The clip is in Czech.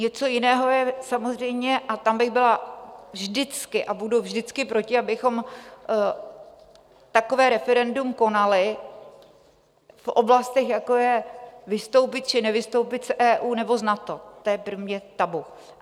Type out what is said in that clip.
Něco jiného je samozřejmě - a tam bych byla vždycky a budu vždycky proti - abychom takové referendum konali v oblastech, jako je vystoupit či nevystoupit z EU nebo z NATO, to je pro mě tabu.